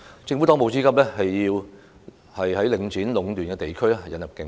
政府當務之急是在領展壟斷的地區引入競爭。